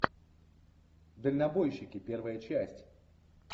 дальнобойщики первая часть